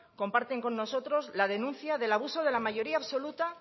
comparten con nosotros la denuncia del abuso de la mayoría absoluta